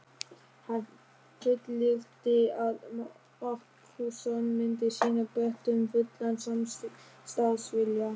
Hann fullyrti að Markússon myndi sýna Bretum fullan samstarfsvilja.